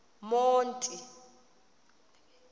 monti